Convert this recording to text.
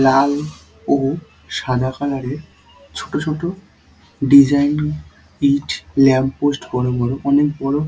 লাল ও সাদা কালার -এর ছোট ছোট ডিজাইন ইঁট ল্যাম্প পোস্ট বড় বড় অনেক বড়।